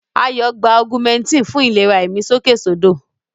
Ayọ̀ gba Augmentin fún ìlera ìmí sókèsódò.